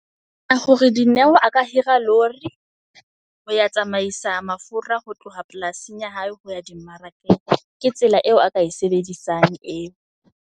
Ka hore Dineo a ka hira lori ho ya tsamaisa mafura ho tloha polasing ya hae ho ya di mmarakeng. Ke tsela eo a ka e sebedisang eo.